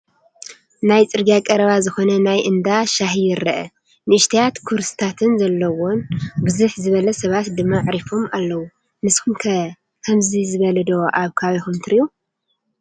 ናብ ፅርግያ ቀረባ ዝኾነ ናይ እንዳ ሻሂ ይረአ፡፡ ንእሽተያት ኩርስታት ዘለዎን ብዝሕ ዝበሉ ሰባት ድማ ኣዕሪፎምን ኣለው፡፡ ንስኹም ከ ከምዚ ዝበለ ዶ ኣብ ከባቢኹም ትሪኡ?